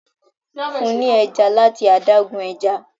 fún ní ẹja lati adágún ẹja